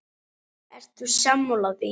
Ert þú sammála því?